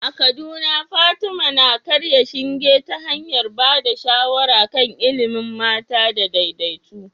A Kaduna, Fatima na karya shinge ta hanyar ba da shawara kan ilimin mata da daidaito.